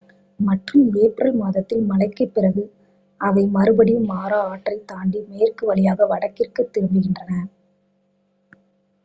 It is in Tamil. மற்றும் ஏப்ரல் மாதத்தில் மழைக்கு பிறகு அவை மறுபடியும் மாரா ஆற்றைத் தாண்டி மேற்கு வழியாக வடக்கிற்கு திரும்புகின்றன